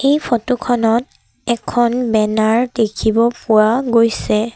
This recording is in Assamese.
এই ফটো খনত এখন বেনাৰ দেখিব ফোৱা গৈছে।